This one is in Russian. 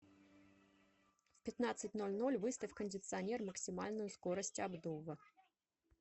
в пятнадцать ноль ноль выставь кондиционер максимальную скорость обдува